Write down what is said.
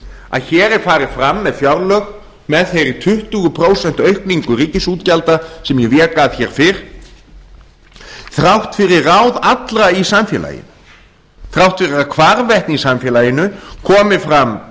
að hér er farið fram með fjárlög með þeirri tuttugu prósent aukningu ríkisútgjalda sem ég vék að hér fyrr þrátt fyrir ráð allra í samfélaginu þrátt fyrir að hvarvetna í samfélaginu komi fram